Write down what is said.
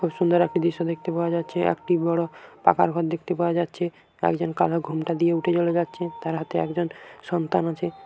খুব সুন্দর একটি দৃশ্য দেখতে পাওয়া যাচ্ছে একটি বড়ো পাকার ঘর দেখতে পাওয়া যাচ্ছে একজন কালো ঘোমটা দিয়ে উঠে চলে যাচ্ছে-এ তার হাতে একজন সন্তান আছে।